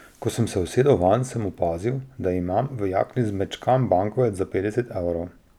Ko sem se usedel vanj, sem opazil, da imam v jakni zmečkan bankovec za petdeset evrov.